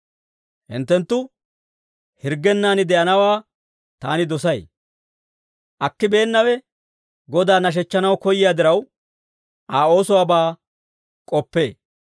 Hinttenttu hirggennan de'anawaa taani dosay. Akkibeennawe Godaa nashechchanaw koyyiyaa diraw, Aa oosuwaabaa k'oppee.